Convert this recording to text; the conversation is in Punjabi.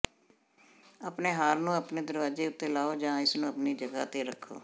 ਆਪਣੇ ਹਾਰ ਨੂੰ ਆਪਣੇ ਦਰਵਾਜ਼ੇ ਉੱਤੇ ਲਓ ਜਾਂ ਇਸ ਨੂੰ ਆਪਣੀ ਜਗਾਹ ਤੇ ਰੱਖੋ